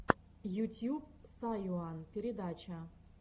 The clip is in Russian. ютьюб сайуан передача